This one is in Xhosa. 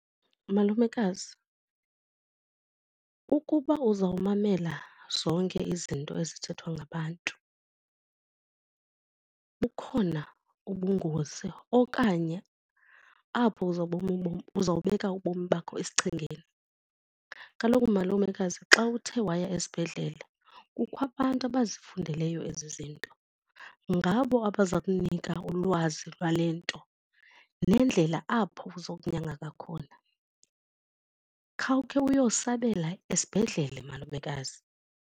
Malumekazi, ukuba uzawumamela zonke izinto ezithethwa ngabantu bukhona ubungozi okanye apho uzawubeka ubomi bakho esichengeni. Kaloku malumekazi xa uthe waya esibhedlele kukho abantu abazifundeleyo ezi zinto, ngabo abaza kunika ulwazi lwale nto nendlela apho izokunyangeka khona. Khawukhe uyosebenzela esibhedlela malumekazi.